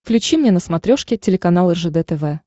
включи мне на смотрешке телеканал ржд тв